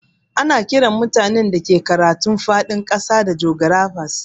Ana Kiran mutanen da ke karatun fadin kasa da jografas.